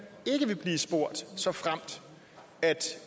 ikke vil blive spurgt såfremt